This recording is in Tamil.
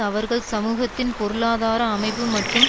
அவர்கள் சமூகத்தின் பொருளாதார அமைப்பு மற்றும்